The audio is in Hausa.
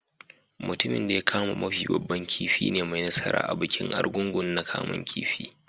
Mutumin de ya kama mafi babban kifin ne mai nasaran bikin Argungu na kaman kifi.